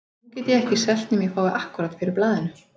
Nú get ég ekkert selt nema ég fái akkúrat fyrir blaðinu.